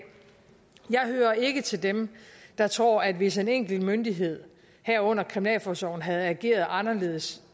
jeg hører ikke til dem der tror at hvis en enkelt myndighed herunder kriminalforsorgen havde ageret anderledes